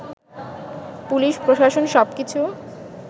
পুলিশ-প্রশাসন সব কিছু